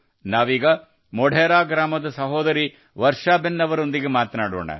ನಾವೀಗ ಮೊಢೆರಾ ಗ್ರಾಮದ ಸಹೋದರಿ ವರ್ಷಾ ಬೇನ್ ಅವರೊಂದಿಗೆ ಮಾತನಾಡೋಣ